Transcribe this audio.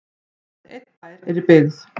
aðeins einn bær er í byggð